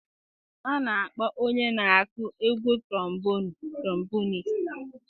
A na-akpọ onye na aku egwu trombonụ tromboniist.